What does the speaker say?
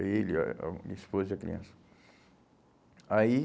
Ele, a a esposa e a criança. Aí